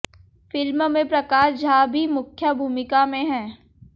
film में प्रकाश झा भी मुख्या भूमिका में हैं